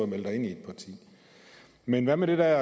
melde dig ind i et parti men hvad med de der